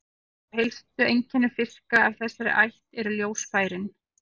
Eitt af helstu einkennum fiska af þessari ætt eru ljósfærin.